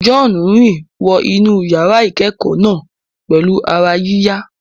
John rìn wọ inú yàrá ìkẹ́kọ̀ọ́ náà pẹ̀lú ara yíyá.